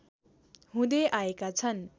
हुँदै आएका छन्